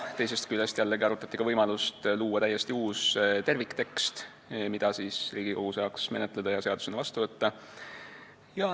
Teisest küljest jällegi arutati, kas tuleks luua täiesti uus terviktekst, mida Riigikogu saaks menetleda ja seadusena vastu võtta.